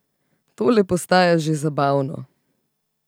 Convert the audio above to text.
Tole postaja že zabavno.